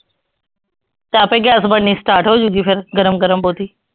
ਤਾਂ ਆਪੇ ਗੈਸ ਬਣਨੀ start ਹੋ ਜਾਊਗੀ ਫਿਰ ਗਰਮ ਗਰਮ ਬਹੁਤੀ